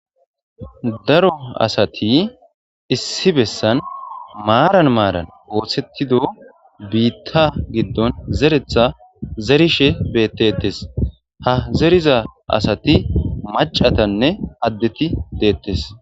Daro asati issi bessan maran maran osseththiddo biththa giddon zereththa zerishshen bettetes ha zeridda asati mac'atanna addeti de'ettes.